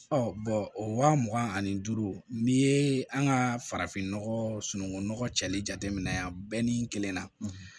o wa mugan ani duuru n'i ye an ka farafinnɔgɔ sunungun nɔgɔ cɛli jateminɛ yan ni kelen na